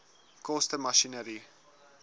koste masjinerie